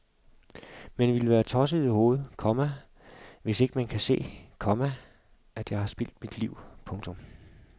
Man ville være tosset i hovedet, komma hvis ikke man kan se, komma at jeg har spildt mit liv. punktum